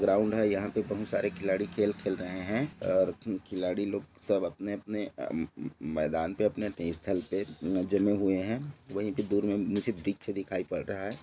Ground हैं यहाँ पे बहुत सारे खिलाड़ी खेल-खेल रहे हैं और खी खिलाड़ी लोग सब अपने-अपने आ म म म मैदान पे अपने-अपने स्थल पे जमे हुए हैं वही पे दुर में मुझे वृक्ष दिखाई पड़ रहा हैं।